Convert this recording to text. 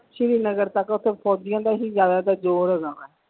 ਸ਼੍ਰੀ ਨਗਰ ਤੱਕ ਓਥੋਂ ਫੋਜੀਆਂ ਦਾ ਹੀ ਜਿਆਦਾਤਰ ਜ਼ੋਰ ਹੈਗਾ ਵਾ।